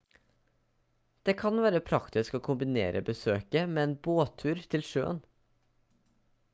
det kan være praktisk å kombinere besøket med en båttur til sjøen